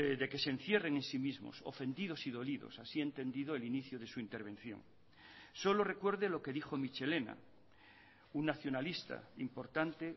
de que se encierren en sí mismos ofendidos y dolidos así he entendido el inicio de su intervención solo recuerde lo que dijo mitxelena un nacionalista importante